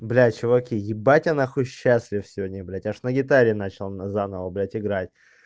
блядь чуваки ебать я нахуй счастлив сегодня блядь аж на гитаре начал заново блядь играть